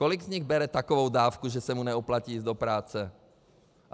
Kolik z nich bere takovou dávku, že se mu nevyplatí jít do práce?